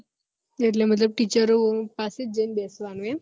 એટલે મતલબ teacher ઓ પાસે જઈ બેસવાનું એમ